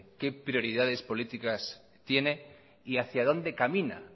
qué prioridades políticas tiene y hacía dónde camina